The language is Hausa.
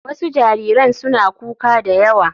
Wasu jariran suna kuka da yawa.